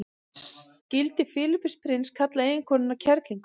skildi filippus prins kalla eiginkonuna kerlingu